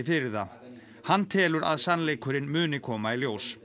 fyrir það hann telur að sannleikurinn muni koma í ljós